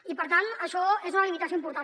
i per tant això és una limitació important